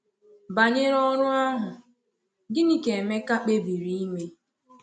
Banyere ọrụ ahụ, gịnị ka Emeka kpebiri ime?